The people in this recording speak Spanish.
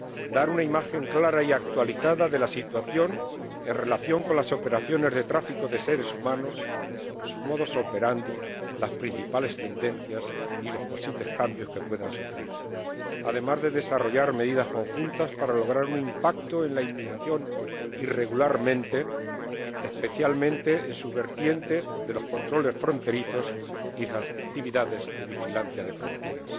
dar una imagen clara y actualizada de la situación en relación con las operaciones de tráfico de seres humanos, su modus operandi las principales tendencias y los posibles cambios que puedan sufrir, además de desarrollar medidas conjuntas para lograr un impacto en la inmigración irregular, especialmente en su vertiente de los controles fronterizos y las actividades de vigilancia de fronteras.